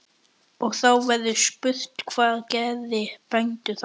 Og þá verður spurt: hvað gera bændur þá?